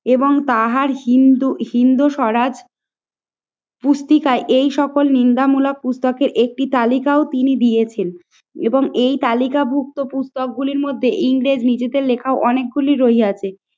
এবং তাহার হিন্দু, হিন্দু স্বরাজ পুস্তিকা এই সকল নিন্দামূলক পুস্তকে একটি তালিকাও তিনি দিয়েছেন এবং এই তালিকাভুক্ত পুস্তক গুলির মধ্যে ইংরেজ নিজেদের লেখা অনেকগুলি রইয়াছে আছে